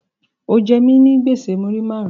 O je mi nigbese muri marun